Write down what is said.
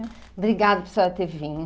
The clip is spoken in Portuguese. Obrigada por senhora ter vindo.